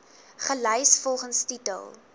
gelys volgens titel